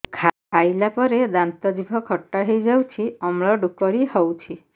ଖାଇଲା ପରେ ଦାନ୍ତ ଜିଭ ଖଟା ହେଇଯାଉଛି ଅମ୍ଳ ଡ଼ୁକରି ହଉଛି